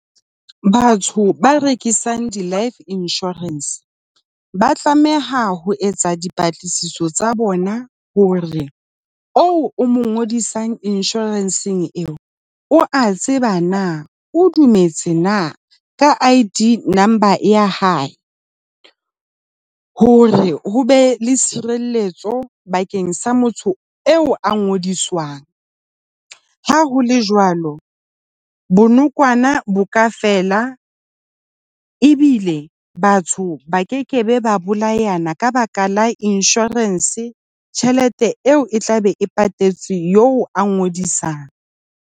Batho ba rekisang di-life insurance ba tlameha ho etsa dipatlisiso tsa bona hore oo o mo ngodisang insurance-ng eo o a tseba na. O dumetse na ka ID number ya hae, hore ho be le tshireletso bakeng sa motho eo a ngodiswang. Ha ho le jwalo, bonokwana bo ka fela ebile batho ba kekebe ba bolayana ka baka la inshorense. Tjhelete eo e tlabe e patetswe eo a ngodisang.